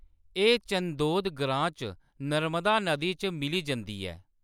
एह्‌‌ चंदोद ग्रांऽ च नर्मदा नदी च मिली जंदी ऐ।